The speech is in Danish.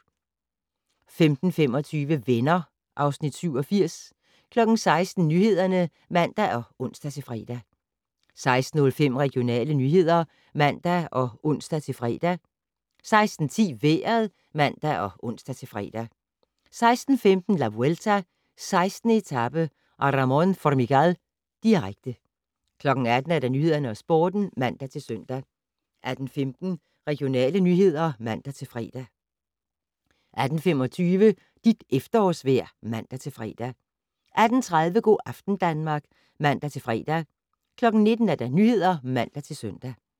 15:25: Venner (Afs. 87) 16:00: Nyhederne (man og ons-fre) 16:05: Regionale nyheder (man og ons-fre) 16:10: Vejret (man og ons-fre) 16:15: La Vuelta: 16. etape - Aramón Formigal, direkte 18:00: Nyhederne og Sporten (man-søn) 18:15: Regionale nyheder (man-fre) 18:25: Dit efterårsvejr (man-fre) 18:30: Go' aften Danmark (man-fre) 19:00: Nyhederne (man-søn)